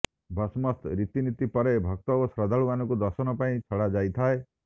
ଭସମସ୍ତ ରୀତିନୀତି ପରେ ଭକ୍ତ ଓ ଶ୍ରଦ୍ଧାଳୁମାନଙ୍କୁ ଦର୍ଶନ ପାଇଁ ଛଡ଼ା ଯାଇଥିଏ